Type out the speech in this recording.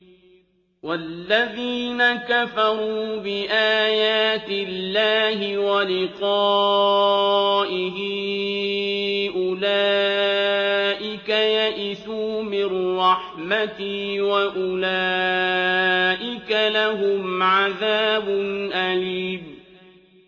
وَالَّذِينَ كَفَرُوا بِآيَاتِ اللَّهِ وَلِقَائِهِ أُولَٰئِكَ يَئِسُوا مِن رَّحْمَتِي وَأُولَٰئِكَ لَهُمْ عَذَابٌ أَلِيمٌ